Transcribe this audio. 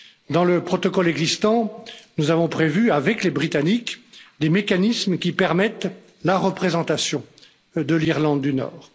Dans le protocole existant, nous avons prévu avec les Britanniques, des mécanismes qui permettent la représentation de l'Irlande du Nord.